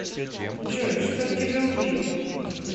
джой чтоб тебя убили